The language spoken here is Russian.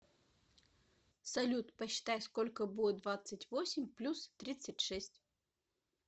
салют посчитай сколько будет двадцать восемь плюс тридцать шесть